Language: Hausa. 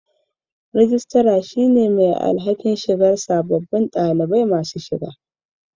Rijistar din ke kula da shiga dalibai